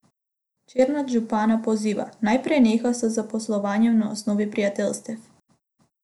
Černač župana poziva, naj preneha z zaposlovanjem na osnovi prijateljstev.